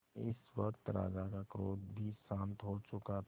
इस वक्त राजा का क्रोध भी शांत हो चुका था